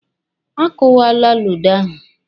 A kwuwala ludo ahụ.